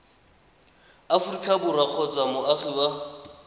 aforika borwa kgotsa moagi wa